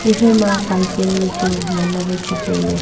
iphai ma cycle wai chu ngan le wai chu tailey.